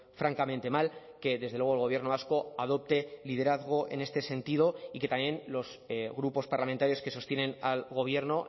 francamente mal que desde luego el gobierno vasco adopte liderazgo en este sentido y que también los grupos parlamentarios que sostienen al gobierno